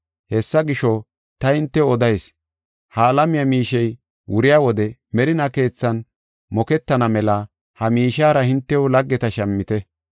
“Hessa gisho, ta hintew odayis; ha alamiya miishey wuriya wode merinaa keethan moketana mela ha miishiyara hintew laggeta shammite.